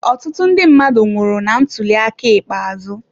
Ọtụtụ ndị mmadụ nwụrụ na ntuli aka ikpeazụ.